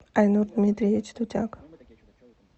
айнур дмитриевич дудяк